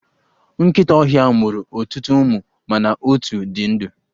Nkịta ọhịa mụrụ ọtụtụ ụmụ mana otu di ndụ.